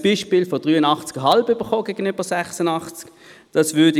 Es wurde das Beispiel mit 83,5 gegenüber 86 erläutert.